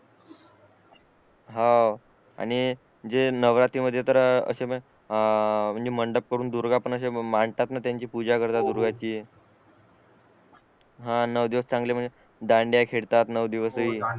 हो आणि जे नवरात्री मध्ये तर अशे पण अह मंडप करून दुर्गा पण अश्या मांडतात ना अशी त्यांची पूजा करतात दुर्गांची हा आणि नऊ दिवस चांगले म्हणजे दांडिया खेळतात नऊ दिवस हि